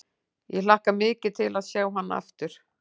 Ég hlakka mikið til að sjá hann aftur.